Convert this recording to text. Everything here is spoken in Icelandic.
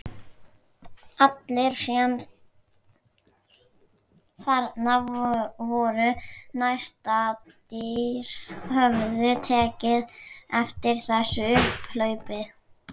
Allir sem þarna voru nærstaddir höfðu tekið eftir þessu upphlaupi.